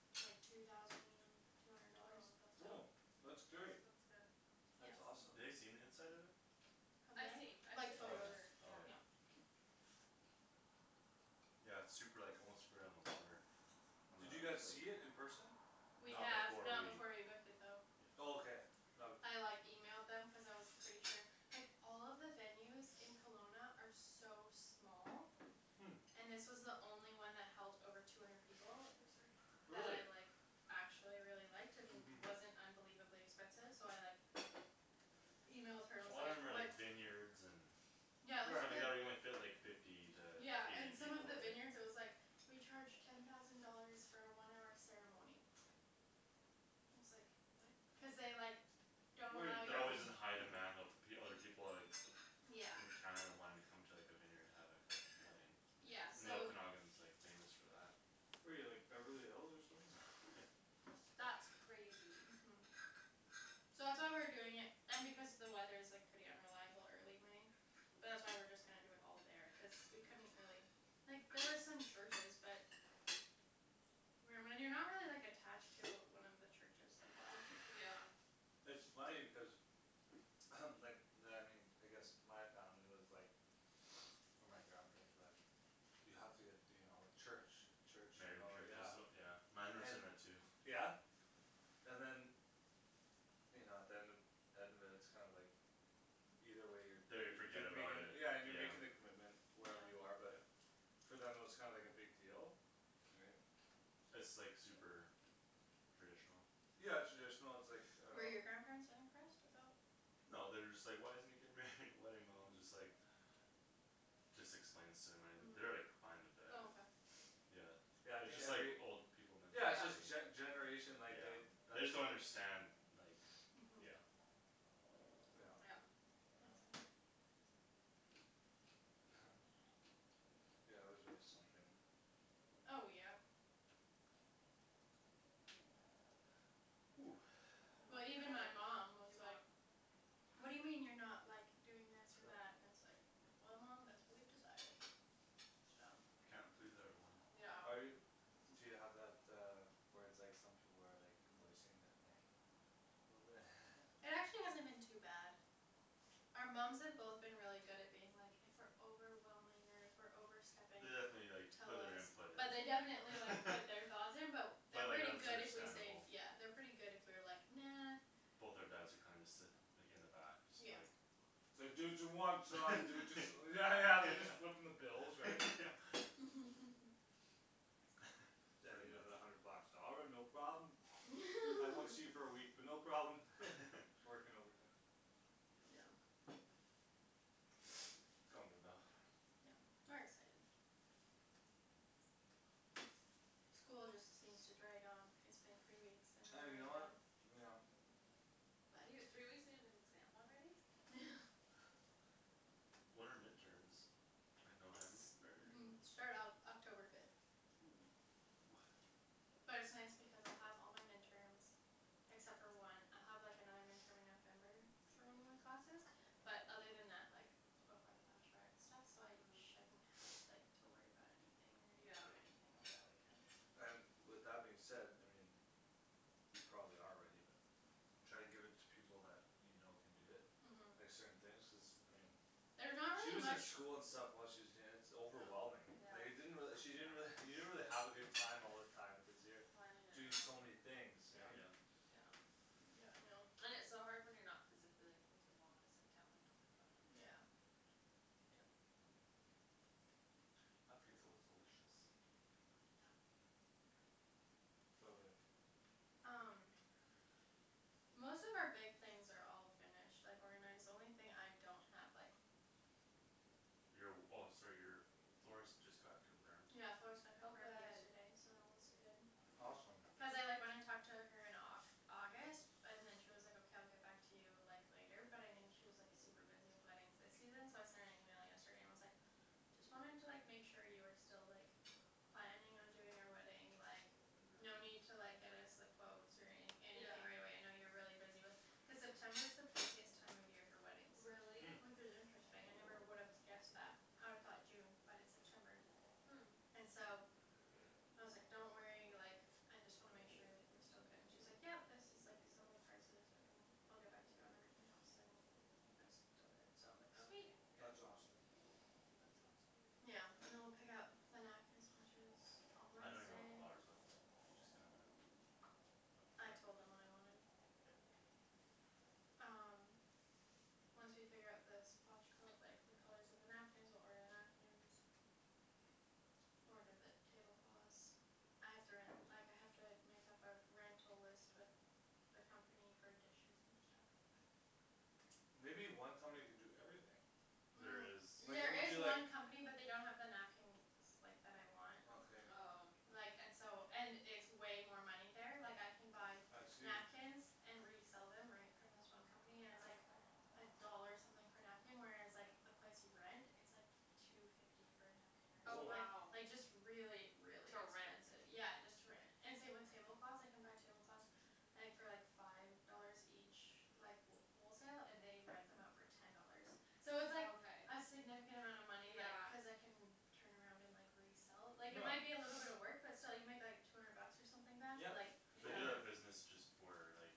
like two thousand two hundred oh dollars that's oh not yeah that's that's great that's good that's yeah awesome ha- they seen the inside of it Have they? I've seen I've seen Like the oh photos picture yeah yeah oh yeah yeah yeah its super like almost right on the water on the did you lake guys see it in person? we not have before we not before we booked it though yeah oh okay no- I like emailed them cuz I was pretty sure like all of the venues in Kelowna are so small hm and this was the only one that held over two hundred people oh sorry that I really like actually really liked and uh-huh wasn't unbelievably expensive so I like emailed her a and was lot of them like are what like vineyards and yeah so they like the fit like fifty to yeah and eight some of people all the right vineyards it was like we charge ten thousand dollars for a one hour ceremony and I was like what cuz they like don't wait allow they're that alway you was in to high demand though fo- other people are like yeah in Canada wanting to come to like a vineyard to have like a wedding yeah and so the Okanagan's like famous for that where you like Beverly Hills or something that's crazy uh-huh so that's why we're doing it and because the weather is like pretty unreliable early May but that's why we're just gonna do it all there cuz we couldn't really like there was some churches but when when you're not really like attached to one of he churches like why yeah it's funny because like I guess my family was like or my grandparents were like you have to get you know church a church you married in know church is yeah as yeah mine were and saying that too yeah and than you know at the end end of it its kinda like either way you're da- they you're forget you're about making it yeah and you're yeah making the commitment yeah wherever you are but yeah for them it was kinda like a big deal right its like super traditional yeah traditional its like uh Were your grandparents unimpressed about no they're just like why isn't he getting married in a wedding my mom is just like just explains to them an- they're like hm fine with oh it okay yeah yeah I its think just like every old people yeah its just mentality yeah gene- generation like they yeah they that's just don't what their understand like uh-huh yeah yeah yeah yeah yeah there's always something oh yeah ooh even well even my before mom was do you want like whad do you mean you're not like doing this or sure that and it's like well mom thats what we've decided so can't please everyone yeah yeah are you do you have that uh where its like some people are like voicing their thing a little bit It actually hasn't been too bad our moms have both been really good at being like if we're overwhelming or if we're overstepping they definitely like tell put their us input in but they definitely like put their thoughts in but but they're like yeah pretty there's good if we say understandable yeah they're pretty good if we're like "nah" both our dads are kinda just sit like in the back just yeah like its like do what you want son do whats yeah yeah yeah they're just footing the bill yeah right yeah daddy I pretty need much another hundred bucks "all right no problem" I won't see you for a week but no problem working overtime yeah its coming about yep we're excited school just seems to drag on it's been three weeks and you and we're know done what yeah you n- three weeks and you have an exam already when are midterms like November it start Oc- October fifth oh ah but it's nice because I'll have all my midterms except for one I'll have like another midterm in November for one of my classes but other than that like before the bachelorette and stuff so I uh-huh shouldn't have like to worry about anything or do anything over yeah that weekend so and with that being said I mean you probably are ready but try to give it to people that you know can do it like uh-huh certain things cuz I mean there's not she really was in much school and stuff while she was danc- overwhelming like it yeah didn't really she didn't really you didn't really have a good time all the time cuz you're planning it and doing all so many things right yeah yep yeah yeah I know and its so hard when you're not physically like with your mom to sit down and talk about everything yeah yeah that pizza was yeah delicious yeah so good um most of our big things are all finished like organized the only thing I don't have like your w- oh sorry your florist just got confirmed yeah florist got oh confirmed good yesterday so that one's good awesome cuz I like went and talked to her in like Au- August and then she was like okay I'll get back to you like later but I knew she was like super busy with weddings this season so I sent an email yesterday and was like just wanting to like make sure you were still like planning on doing our wedding like no uh-huh need to like get us the quotes or any yeah anything right away I know you're really busy with cuz September is the busiest time of year for weddings really hm which is interesting I never would have guessed that I'd've thought June but it's September hm and so I was like don't worry like I just wanna make sure like we're still good and she's like yep this is like some of the prices and I'll get back to you on everything else and I'm still but good okay so like sweet that's awesome really yeah and then we'll pick out the napkin swatches on I don't even know what the Wednesday flowers look like you just kinda I with the told them what I wanted yup um once we figure out the swatch col- like the colors of the napkins we'll order the napkins order the tablecloths I have to ren- like I have to make up our rental list with the company for dishes and stuff but maybe one company can do everything there is um like when there you is do like one company but they don't have the napkins like that I want okay oh like and so and it's way more money there like I can buy I see napkins and resell them right from this one company and its oh like okay a dollar something per napkin whereas like the place you rent it's like two fifty per napkin or some- oh or woah like wow like just really really to rent expensive yeah just to rent and same with tablecloths I can buy tablecloths I think for like five dollars each like wh- wholesale and they rent them out for ten dollars so oh it's like okay a significant amount of money like yeah cuz I can turn around and like resell like it yeah might be a little bit of work but still you make like two hundred bucks or something back yep like they do totally yeah yeah that business just for like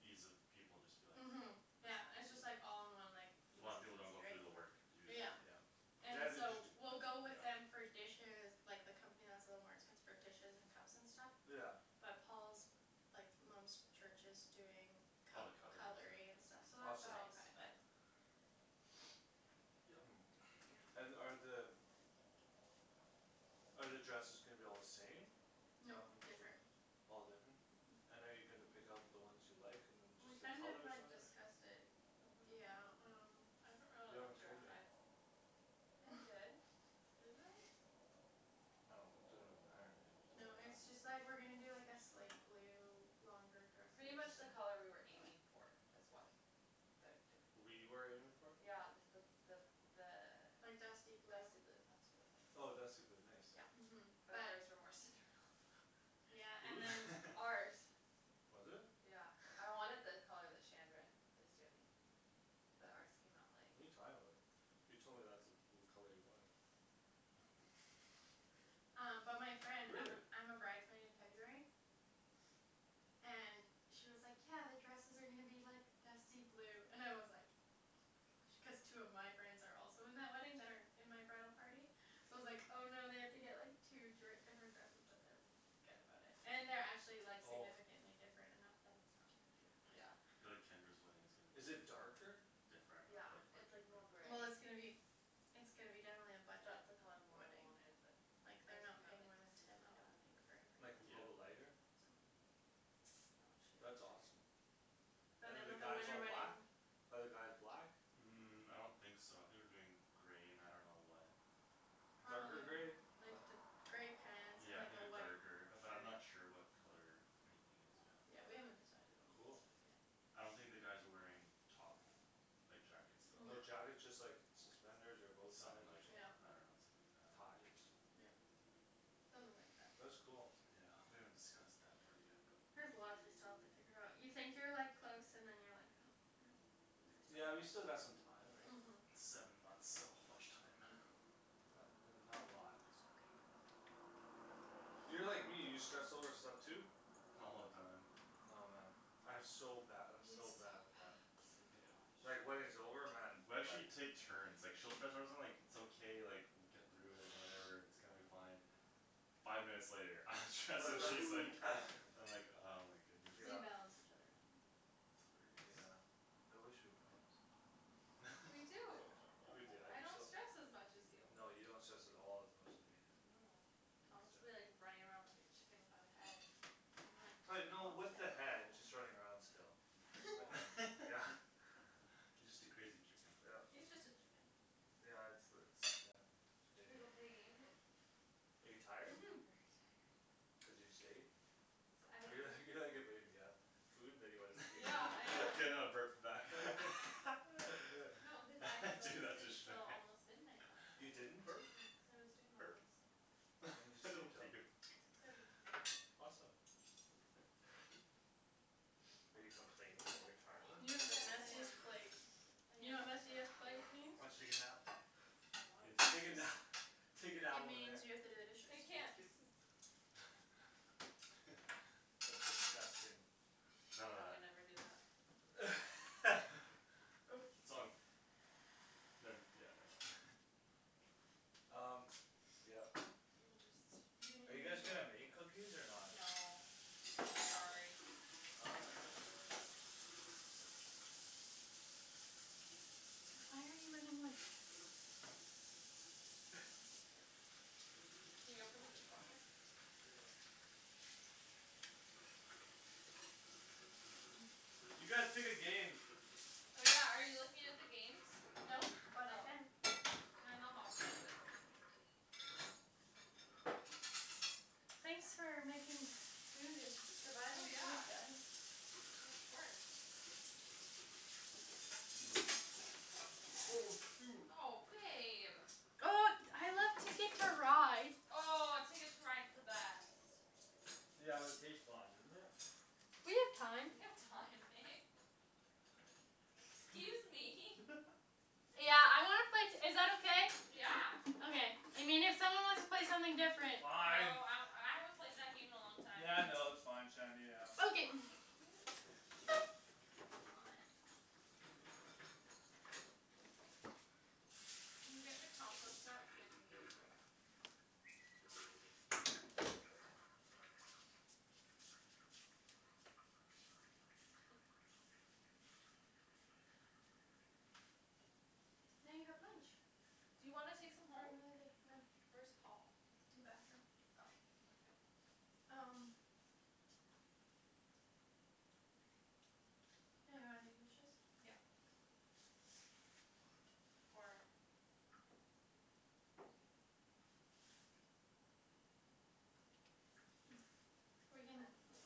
ease of people just be like uh-huh yeah yeah it's just like all in one like A lot of people easy don't go through the peasy work to do that right yeah yeah and yeah they just so d- we'll go with them yeah for dishes like the company that's a little more expensive for dishes and cups and stuff yeah but Paul's like mom's church is doing all the cut- cutlery and cutlery and stuff stuff yeah awesome so oh okay that's nice but hm and are the are the dresses gonna be all the same? nope different all different uh-huh and are you gonna pick out the ones you like and then we just the kind of colors or like something discussed it yeah uh-huh um you haven't told me I did didn't I I don't it doesn't really matter to me you no told me it's or just like not we're gonna do like a slate yeah blue longer dresses pretty much the color we were aiming for is what their doing we were aiming for? yeah the the the like dusty the blue dusty blue that's what it is oh dusty blue nice yeah uh-huh but but ours were more Cinderella blue yeah who's? and then ours was it? yeah I wanted the color that Shandryn is doing but ours came out like what're you talking about you told me that's the blue color you wanted no um but my friend I'm really? a I'm a bride's maid in it's okay February and she was like "yeah the dresses are gonna be like dusty blue" and I was like oh my gosh cuz two of my friends are also in that wedding that are in my bridal party so I was like "oh no I have to like get two dri- different dresses" but they're good about it and they're actually like oh significantly different enough that it's not a big deal but yeah yeah I feel like Tendra's wedding is gonna be is it darker? different yeah ah like quit it's like more different gray well it's gonna be it's gonna be definitely a budget that's the color more I wedding wanted but like they're ours not came out paying like more than ten I don't Cinderella think for blue like a yeah little bit everything I lighter think so no I'll show that's you a awesome picture but and then than the with a guys winter all black ? wedding are the guys black? um I don't think so I think we're doing gray and I don't know what darker gray probably like light th- gray pants and yeah I like think a a white darker shirt but I'm not sure what color anything is yet yeah we haven't decided on all that cool stuff yet I don't think the guys are wearing top like jackets though no no jackets just like suspenders or bowties something or like something yeah I don't know something like that ties yeah something like that that's cool yeah we haven't discussed that part yet but there's lots we still have to figure out you think you're like close and then you're like oh no yeah you there's still still got lots some time right? uh-huh seven months so much time uh-huh it's not that's not a lot that's okay we'll get there you're like me you stress over stuff too? all the time oh man I'm so bad I'm he's so so bad bad with oh that yeah my God like wedding's over man we like actually take turns like she'll stress out about like its okay like we'll get through it and whatever its gonna be fine five minutes later I'm stressed she's like I'm like oh my goodness we yeah balance each other out that's hilarious yeah I wish we balanced we do we do I'm I just don't so stress as much as you no you don't stress at all as much as me no Thomas'll be like running around like a chicken without a head I'm like pla- calm no down with the head just running around still no okay yeah you just a crazy chicken yup yeah its the its yeah its should we go crazy play a game are you I'm tired very uh-huh tired cuz you just ate cuz I didn't you're like go you're like a baby you've food then you wanna sleep yeah I can uh now burp the back no cause I didn't go to sleep till almost midnight last you night didn't? burp cuz I was doing all burp this when did you sleep don't till? puke six thirty awesome are you complaining that you're you go tired have to the yes the I am messiest washroom plates I you am know what complaining messiest plate very oh did means? hard you take a nap I means wanted to take a this nap take It a nap over there means you have to do the I dishes can't that's disgusting none of yeah we that never do that its on ne- yeah never mind laughs] um yup we'll just are you guys gonna make cookies or not? no sorry why are you running away? can you open the dishwasher yeah you guys pick a game oh yeah are you looking at the games no but I oh can they're in the hall closet thanks for making food and oh providing food yeah guys of course oh shoot oh babe oh I like TIcket to Ride oh Ticket to Ride's the best yeah but it takes long doesn't it we have time we have time babe excuse me yeah I wanna play t- is that okay? yeah okay I mean if someone wants to play something different oh fine I I haven't played that game in a long time yeah no its fine Shandy yeah okay k can you what can you get the compost out now you have lunch do you wanna take some for home? another day no where's Paul? in the bathroom oh okay um yeah you wanna do dishes? yeah or we're I don't know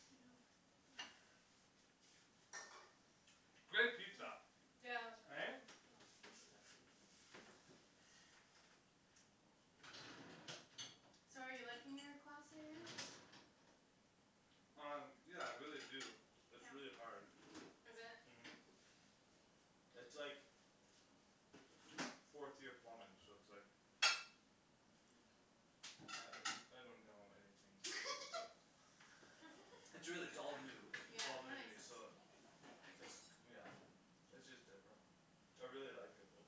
yo that great pizza yeah it was right? really oh this is empty so are you liking your class that you're in? um yeah I really do its really hard is it? uh-huh its like fourth year plumbing so its like I I don't know anything its a its really its all new yeah its all new that to makes me sense so its yeah its just different I really like it though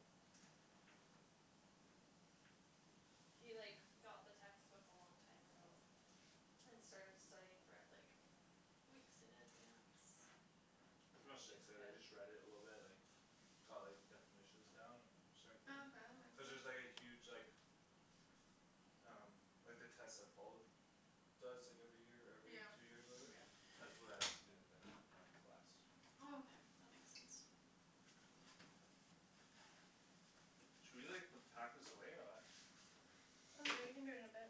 He like got the textbook a long time ago and started studying for it like weeks in advance which is I good just read it a little bit like got like the definitions down and certain things oh okay that cuz there's makes like a sense huge like um like the test that Paul does like every year or yeah every two years or whatever yeah that's what I have to do at the end of my class oh okay that makes sense should we like put pack this away or what oh yeah we can do it in a bit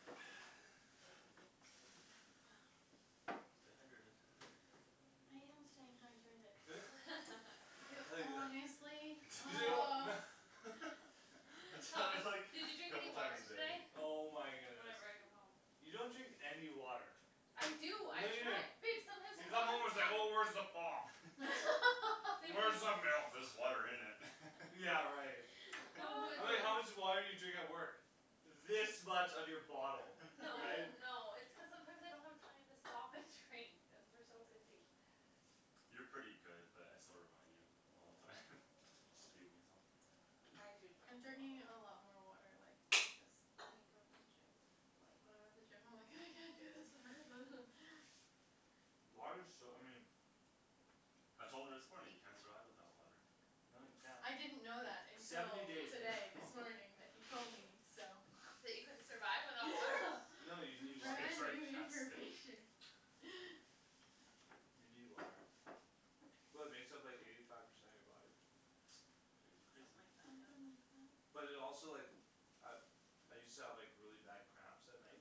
stay hydrated you I tell you wh- oh I Paul tell Paul her is like did "did you you drink drink any couple any a time water water a today? day today?" oh my goodness whenever I come home you don't drink any water I do I no you don't try babe you come home its sometimes like oh where's the I pop babe there's where's the just just milk there's water in it yeah right oh no I was my like how much it's gosh just water did you drink at work this much of your bottle no right no it's cuz sometimes I don't have time to stop and drink cuz we're so busy you're pretty good but I still remind you all the time just to be a weasel I do I'm drink drinking a lot more like because I go to the gym like when I'm at the gym I'm like "I can't do this water" water's so I mean I told her this morning you can't survive without water No you can't I didn't know that until seventy days today this morning that he told me so that you couldn't survive without water no you need water brand new information you need water well it makes up like eighty five percent of you body or something crazy something crazy like that something yeah like that but it also like I I used to have like really bad cramps at night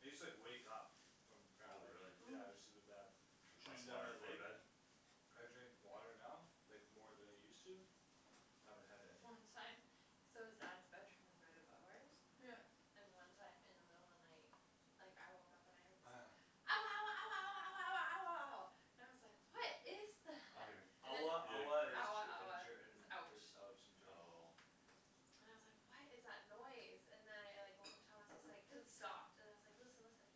I used to like wake up from cramp oh really yeah it use to be oh bad drink lots shooting a down water my before leg bed I drink water now like more than I use to haven't had any long time so his dad's bedroom is right above ours yup and one time in the middle of the night like I woke up and I heard this oh yeah ouah ouah ouah ouah ouah ouah ouah ouah ouah and I was like what is oh you're that and then ouah he ouah is had ouah cramps Ger in ouah Ger in is is ouch ouch in German oh and I was like what is that noise and then I like woke up Thomas is like cuz it stopped and then I was like listen listen